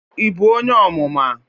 Ị bụ onye Ọmụma?